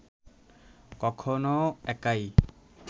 কখনও একাই